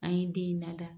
An ye den in lada